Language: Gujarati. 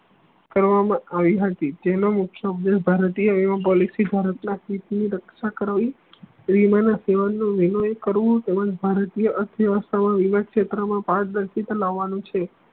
કરવા મા આવી હતી તેનો મુખ્ય ઉદેશ્ય ભારતીય policy ભારત ના રક્ષા કરાવિયું તેમજ ભારતીય ના અર્થવ્યસ્થા મા અને ક્ષેત્ર મા પારદર્શિતા લાવાની છે